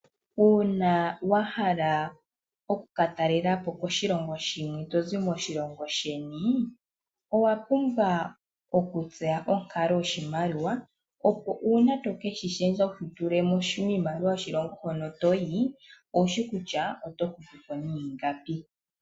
Uuna wa hala okukatalelapo koshilongo shi ili tozi moshilongo sheni, owa pumbwa okutseya onkalo yoshimaliwa opo uuna to keshi lundulula miimaliwa yokoshilongo hono toyi, owushi kutya oto hupu po niingapi.